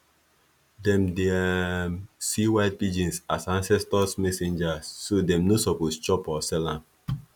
them dey um see white pigeons as ancestors messengers so them no suppose chop or sell am